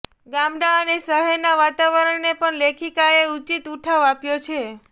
ગામડાં અને શહેરનાં વાતાવરણને પણ લેખિકાએ ઉચિત ઉઠાવ આપ્યો છે